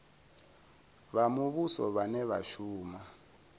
vha muvhuso vhane vha shuma